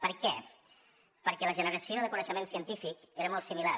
per què perquè la generació de coneixement científic era molt similar